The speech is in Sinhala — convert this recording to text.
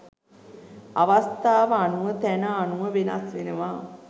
අවස්ථාව අනුව තැන අනුව වෙනස් වෙනවා.